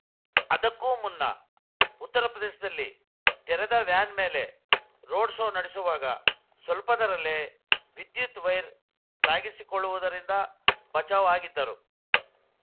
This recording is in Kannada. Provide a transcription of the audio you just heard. ಅದಕ್ಕೂ ಮುನ್ನ ಉತ್ತರಪ್ರದೇಶದಲ್ಲಿ ತೆರೆದ ವ್ಯಾನ್‌ ಮೇಲೆ ರೋಡ್‌ ಶೋ ನಡೆಸುವಾಗ ಸ್ವಲ್ಪದರಲ್ಲೇ ವಿದ್ಯುತ್‌ ವೈರ್‌ ತಾಗಿಸಿಕೊಳ್ಳುವುದರಿಂದ ಬಚಾವ್‌ ಆಗಿದ್ದರು